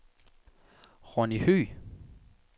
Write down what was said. Ronny Høegh